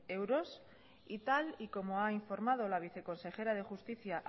euros y tal y como ha informado la viceconsejera de justicia